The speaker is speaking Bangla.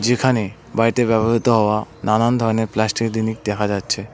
যেখানে বাড়িতে ব্যবহৃত হওয়া নানান ধরনের প্লাস্টিকের দিনিস দেখা যাচ্ছে।